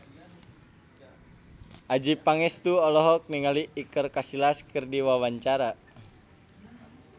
Adjie Pangestu olohok ningali Iker Casillas keur diwawancara